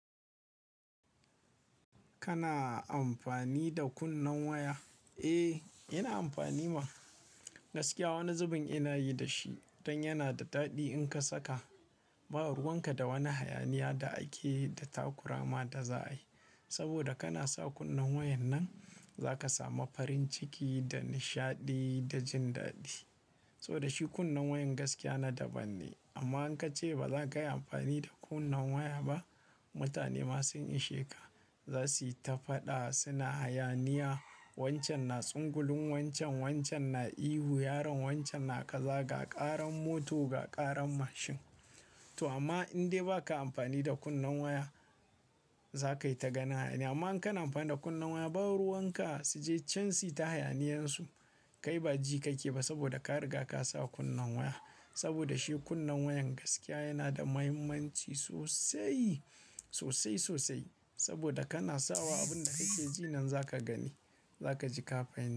Kana amfani da kunnen waya? Eh, ina amfani ma. Gaskiya wani zubin ina yi da shi don yana da daɗi in ka saka. Ba ruwan ka da wani hayaniya da ake da takurama da za a yi. Saboda kana sa kunnen wayan nan za ka samu farin ciki da nishaɗi da jin daɗi. Saboda shi kunnen wayan gaskiya na daban ne. Amma in ka ce ba za ka yi amfani da kunnen waya ba, mutane ma sun ishe ka za su yi ta faɗa suna hayaniya. Wancan na tsangwulan wancan, wancan na ihu, yaronbwancan na kaza ga ƙaran mota, ga ƙaran mashin. To amma in dai ba ka amfani da kunnen waya, za ka yi ta ganin hayaniya. Amma in ka na amfani da kunnen waya, ba ruwan ka su je can syuyi ta hayaniyan su, kai ba ji kai ke ba saboda ka riga ka sa kunnen waya. Saboda shi kunnen wayan gaskiya yana da muhimmanci sosai, sosai sosai. Saboda kana sawa abin da kai ke ji nan za ka gani, za ka ji kafin.